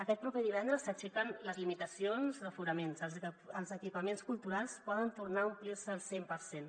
aquest proper divendres s’aixequen les limitacions d’aforament els equipaments culturals poden tornar a omplir se al cent per cent